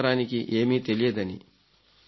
కొత్త తరానికి ఏమీ తెలియదని